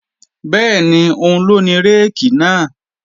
Bẹ́ẹ̀ni, òun ló ní réèkì náà